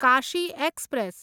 Kashi express